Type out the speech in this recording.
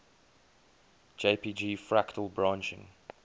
jpg fractal branching